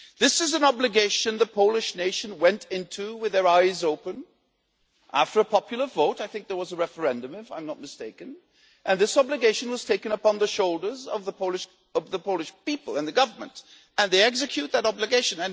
This is an obligation that the Polish nation went into with their eyes open after a popular vote I think there was a referendum, if I'm not mistaken and this obligation was taken upon the shoulders of the Polish people and Government and they execute that obligation.